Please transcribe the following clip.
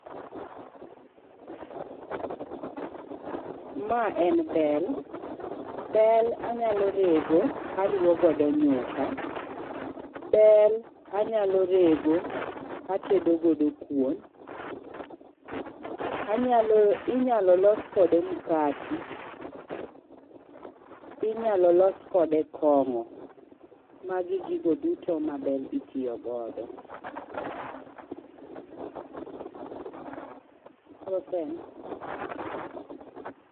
Ma en bel. Bel anyalo rego aruwo godo nyuka. Bel anyalo rego atedo godo kuon. Anyalo, inyalo los kode mkati, inyalo los kode kong'o. Magi gigo duto ma bel itiyo godo